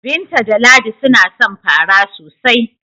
Binta da Ladi suna son fara sosai.